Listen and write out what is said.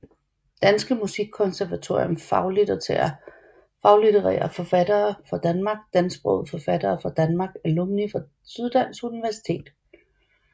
Danske Musikkonservatorium Faglitterære forfattere fra Danmark Dansksprogede forfattere fra Danmark Alumni fra Syddansk Universitet